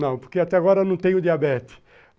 Não, porque até agora eu não tenho diabetes.